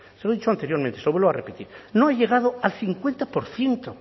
se lo he dicho anteriormente se lo vuelvo a repetir no ha llegado a cincuenta por ciento